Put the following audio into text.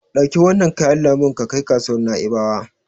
Ɗauki wannan kayan lambun ka kai kasuwar Na'ibawa.